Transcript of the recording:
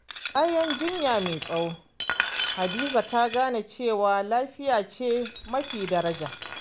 Bayan jinya mai tsawo, Hadiza ta gane cewa lafiya ce mafi daraja.